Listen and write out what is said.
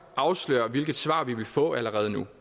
afsløre hvilket svar vi vil få allerede nu